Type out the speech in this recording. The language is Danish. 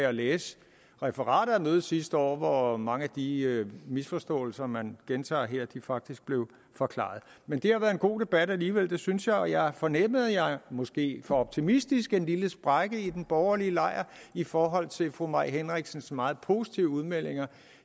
at læse referatet af mødet sidste år hvor mange af de misforståelser man gentager her faktisk blev forklaret men det har været en god debat alligevel det synes jeg og jeg fornemmede måske for optimistisk en lille sprække i den borgerlige lejr i forhold til fru mai henriksens meget positive udmeldinger